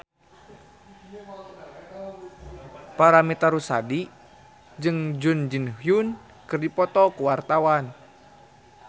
Paramitha Rusady jeung Jun Ji Hyun keur dipoto ku wartawan